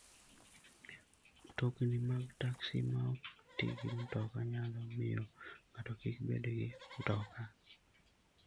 Mtokni mag taksi ma ok ti gi mtoka nyalo miyo ng'ato kik bed gi mtoka.